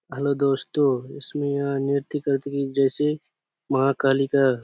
hello दोस्तों इसमें यह नृत्य करते जैसे माँ काली का--